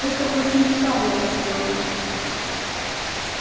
это очень старая история